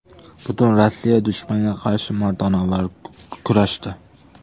Butun Rossiya dushmanga qarshi mardonavor kurashdi.